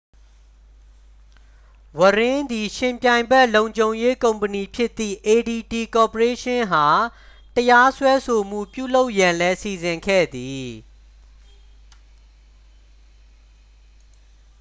ဝရင်း သည် ယှဉ်ပြိုင်ဘက် လုံခြုံရေးကုမ္ပဏီဖြစ်သည့် adt ကော်ပိုရေးရှင်းအား တရားစွဲဆိုမှု ပြုလုပ်ရန်လည်း စီစဉ်ခဲ့သည်